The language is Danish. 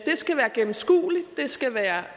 skal være gennemskueligt der skal være